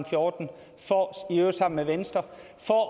fjorten i øvrigt sammen med venstre